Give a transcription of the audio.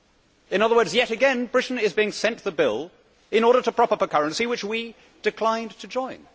In other words, yet again Britain is being sent the bill in order to prop up a currency which we declined to join.